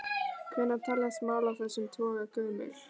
Hvenær teljast mál af þessum toga gömul?